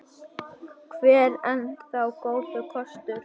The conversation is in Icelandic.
Evran enn þá góður kostur